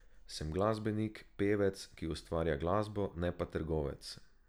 Sem glasbenik, pevec, ki ustvarja glasbo, ne pa trgovec.